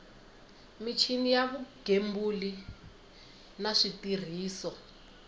michini ya vugembuli na switirhiso